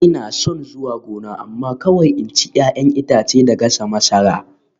Ina son zuwa gona amma kawai in ci 'ya'yan itace da gasa masara